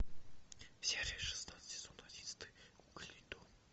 серия шестнадцать сезон одиннадцатый кукольный дом